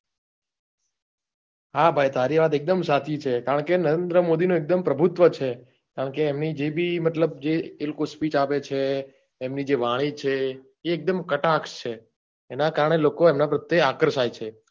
હા ભાઈ તારી વાત એકદમ સાચી છે કારણ કે નરેન્દ્ર મોદીનો એકદમ પ્રભુત્વ છે કારણ કે એમની જે બી મતલબ જે એ લોકો Speech આપે છે એમની જે વાણી છે એ એકદમ કટાક્ષ છે એના કારણે લોકો એમના પ્રત્યે આક્રશ થાય છે.